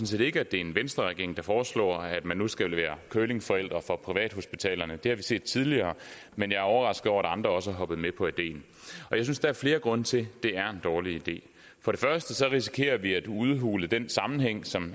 set ikke at det er en venstreregering der foreslår at man nu skal være curlingforældre for privathospitalerne det har vi set tidligere men jeg er overrasket over at andre også er hoppet med på ideen og jeg synes der er flere grunde til at det er en dårlig idé for det første risikerer vi at udhule den sammenhæng som